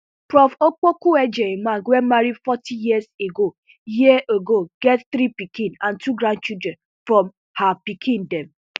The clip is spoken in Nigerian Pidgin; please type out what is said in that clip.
prof opokuagyemang wey marry forty years ago years ago get three pikin and two grandchildren from her pikin dem